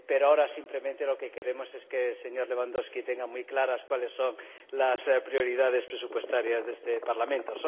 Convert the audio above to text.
Ahora, simplemente, lo que queremos es que el señor Lewandowski tenga muy claras cuáles son las prioridades presupuestarias de este Parlamento.